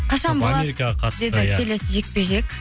қашан болады америкаға қатысты иә келесі жекпе жек